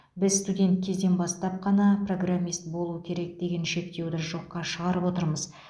біз студент кезден бастап қана программист болу керек деген шектеуді жоқша шығарып отырмыз